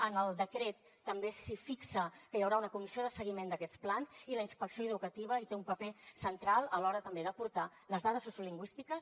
en el decret també s’hi fixa que hi haurà una comissió de seguiment d’aquests plans i la inspecció educativa hi té un paper central a l’hora també d’aportar les dades sociolingüístiques